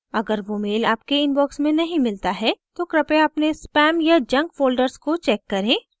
अगर वो mail आपके inbox में नहीं मिलता है तो कृपया अपने spam या junk folders check करें